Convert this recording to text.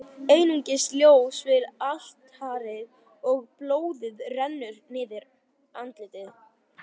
Einungis ljós við altarið, og blóðið rennur niður andlit